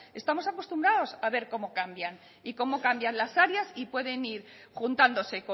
estamos acostumbrados a ver cómo cambian y cómo cambian las áreas y pueden ir juntándose